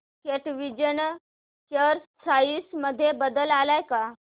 कॅटविजन share price मध्ये बदल आलाय का